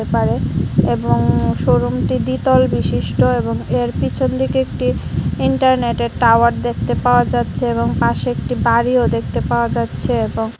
পারে এবং শোরুমটি দ্বিতল বিশিষ্ট এবং এর পিছন দিকে একটি ইন্টারনেটের টাওয়ার দেখতে পাওয়া যাচ্ছে এবং পাশে একটি বাড়িও দেখতে পাওয়া যাচ্ছে এবং--